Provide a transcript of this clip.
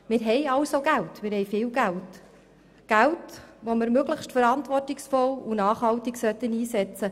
Wir haben somit Geld, sogar viel Geld, welches wir möglichst verantwortungsvoll und nachhaltig einsetzen sollten.